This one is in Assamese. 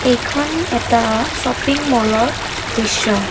এইখন এটা শ্বপিং মলৰ দৃশ্য।